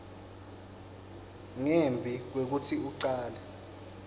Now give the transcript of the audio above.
ngembi kwekutsi ucale